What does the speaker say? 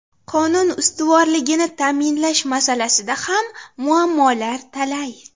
Qonun ustuvorligini ta’minlash masalasida ham muammolar talay.